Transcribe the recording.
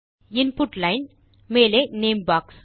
input line மேலே name box